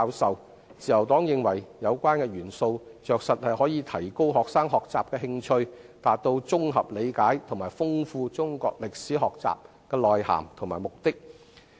自由黨認為，有關的元素着實可以提高學生學習的興趣，達到綜合理解和豐富中國歷史學習內涵的目的。